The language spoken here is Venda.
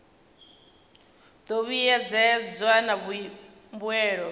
do vhuedzedzwa na mbuelo u